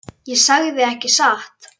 Og hvað gerðuð þér svo?